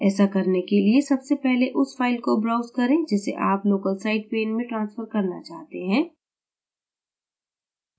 ऐसा करने के लिए सबसे पहले उस फ़ाइल को browse करें जिसे आप local site pane में transfer करना चाहते हैं